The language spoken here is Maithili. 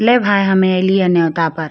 ले भाय हम ऐलियन नेवता पर।